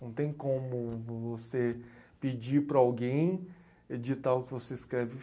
Não tem como você pedir para alguém editar o que você escreve.